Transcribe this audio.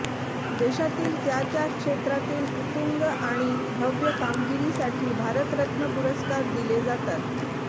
देशातील त्या त्या क्षेत्रातील उत्तुंग आणि भव्य कामगिरीसाठी भारतरत्न पुरस्कार दिले जातात